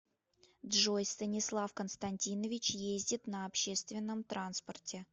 джой станислав константинович ездит на общественном транспорте